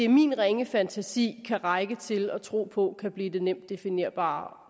min ringe fantasi kan række til at tro på kan blive det nemt definerbare